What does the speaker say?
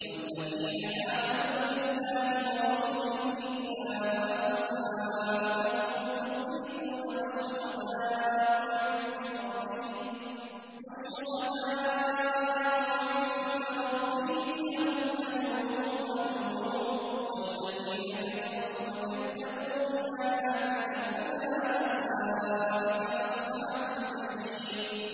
وَالَّذِينَ آمَنُوا بِاللَّهِ وَرُسُلِهِ أُولَٰئِكَ هُمُ الصِّدِّيقُونَ ۖ وَالشُّهَدَاءُ عِندَ رَبِّهِمْ لَهُمْ أَجْرُهُمْ وَنُورُهُمْ ۖ وَالَّذِينَ كَفَرُوا وَكَذَّبُوا بِآيَاتِنَا أُولَٰئِكَ أَصْحَابُ الْجَحِيمِ